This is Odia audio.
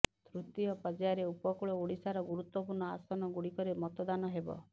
ତୃତୀୟ ପର୍ଯ୍ୟାୟରେ ଉପକୂଳ ଓଡ଼ିଶାର ଗୁରୁତ୍ବପୂର୍ଣ୍ଣ ଆସନ ଗୁଡ଼ିକରେ ମତଦାନ ହେବ